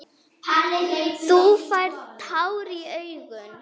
Þú færð tár í augun.